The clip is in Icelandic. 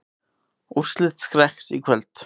Úrslit Skrekks í kvöld